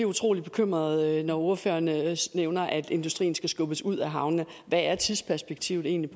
utrolig bekymret når ordføreren nævner at industrien skal skubbes ud af havnene hvad er tidsperspektivet egentlig